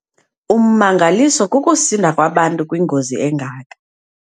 Ummangaliso kukusinda kwabantu kwingozi engaka.